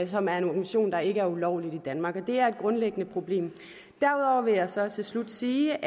som er en organisation der ikke er ulovlig i danmark og det er et grundlæggende problem derudover vil jeg så til slut sige